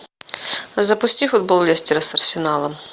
запусти футбол лестера с арсеналом